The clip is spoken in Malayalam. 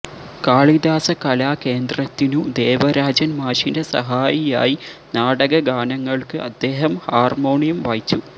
കാളിദാസ കലാ കേന്ദ്രത്തിനു ദേവരാജൻ മാഷിന്റെ സഹായിയായി നാടകഗാനങ്ങൾക്ക് അദ്ദേഹം ഹാർമോണിയം വായിച്ചു